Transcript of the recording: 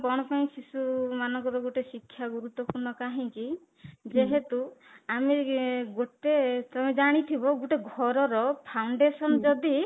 କଣ ପାଇଁ ଶିଶୁ ମାନଙ୍କର ଗୋଟେ ଶିକ୍ଷା ଗୁରୁତ୍ୱପୂର୍ଣ୍ଣ କାହିଁକି ଯେହେତୁ ଆମେ ଗୋଟେ ତମେ ଜାଣିଥିବ ଗୋଟେ ଘରର foundation ଯଦି